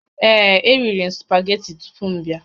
Ee, eriri m spageti tupu m abịa